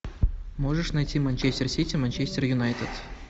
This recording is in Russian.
можешь найти манчестер сити манчестер юнайтед